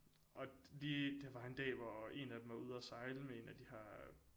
Og de der var en dag hvor en af dem var ude og sejle med en de her